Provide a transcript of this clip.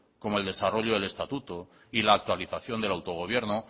como el desarrollo del estatuto y la actualización del autogobierno